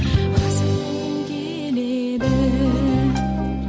азат болғым келеді